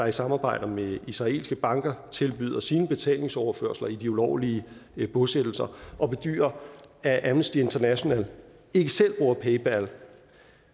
i samarbejde med israelske banker tilbyder sine betalingsoverførsler i de ulovlige bosættelser og bedyrer at amnesty international ikke selv bruger paypal